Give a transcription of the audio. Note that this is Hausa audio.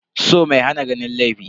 So mai hana ganin laifi.